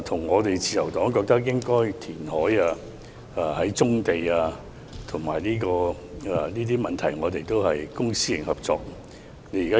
我們覺得應該填海，而棕地的問題亦需要公私營合作。